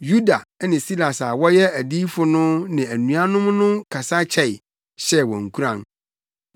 Yuda ne Silas a wɔyɛ adiyifo no ne anuanom no kasa kyɛe, hyɛɛ wɔn nkuran.